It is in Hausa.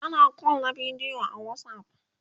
ana call na bidiyo a watsapp